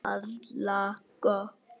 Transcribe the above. Harla gott.